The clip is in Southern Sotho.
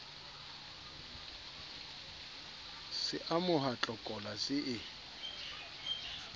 se amoha tlokola se e